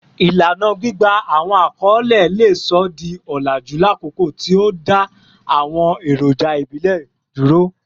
Ilana gbigba awọn akọle le sọ di olaju lakoko ti o da awọn eroja ibile duro